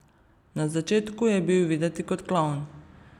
Na začetku je bil videti kot klovn.